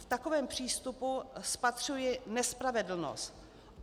V takovém přístupu spatřuji nespravedlnost.